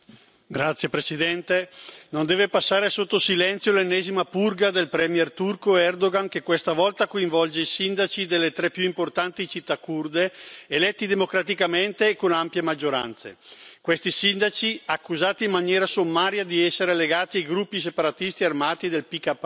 Signor Presidente, onorevoli colleghi, non deve passare sotto silenzio l'ennesima purga del premier turco Erdoğan, che questa volta coinvolge i sindaci delle tre più importanti città curde, eletti democraticamente e con ampie maggioranze. Questi sindaci, accusati in maniera sommaria di essere legati ai gruppi separatisti armati del PKK,